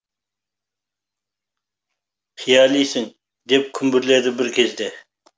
қиялисың деп күмбірледі бір кезде